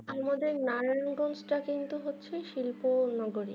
আমাদের নারায়ণ গঞ্চ টা হচ্ছে কিন্তু হচ্ছে শিল্প অন্য